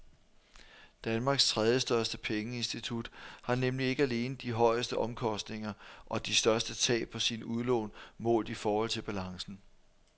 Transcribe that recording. Danmarks tredjestørste pengeinstitut har nemlig ikke alene de højeste omkostninger og de største tab på sine udlån målt i forhold til balancen.